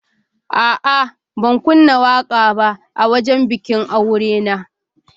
A'a, ban kunna waƙa ba a wajen bikin aure na.